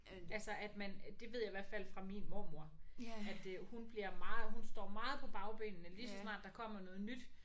Altså at man det ved jeg i hvert fald fra min mormor at øh hun bliver meget hun står meget på bagbenene lige så snart der kommer noget nyt